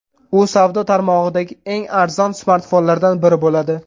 U savdo tarmog‘idagi eng arzon smartfonlardan biri bo‘ladi.